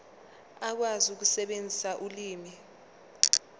ukwazi ukusebenzisa ulimi